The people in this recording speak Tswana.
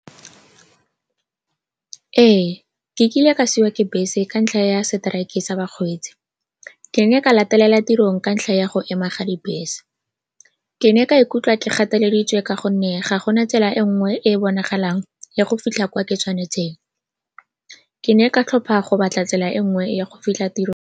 Ee, ke kile ka siiwa ke bese ka ntlha ya strike-e sa bakgweetsi. Ke ne ka latelela tirong ka ntlha ya go ema ga dibese. Ke ne ka ikutlwa ke gateleditswe ka gonne ga go na tsela e nngwe e e bonagalang ya go fitlha kwa ke tshwanetseng. Ke ne ka tlhopha go batla tsela e nngwe ya go fitlha tirong.